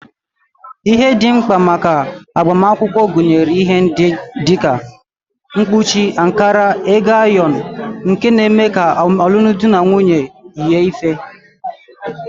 Ihe ndị dị mkpa maka agbamakwụkwọ gụnyere ihe ndị dị ka mkpuchi, ankara na ego ayọrọ nke na-eme ka omenala alụmdi na nwunye yie ife